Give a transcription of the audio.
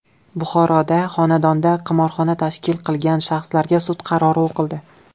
Buxoroda xonadonda qimorxona tashkil qilgan shaxslarga sud qarori o‘qildi.